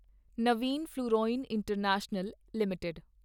ਨਵੀਂ fluorine international limited